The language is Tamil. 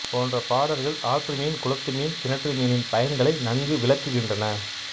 போன்ற பாடல்கள் ஆற்று மீன் குளத்து மீன் கிணற்று மீனின் பயன்களை நன்கு விளக்குகின்றன